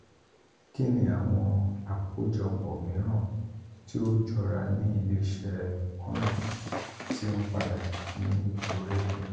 kini awọn akojopo miiran ti o jọra ni ile-iṣẹ kanna ti n pada ni ikore pinpin?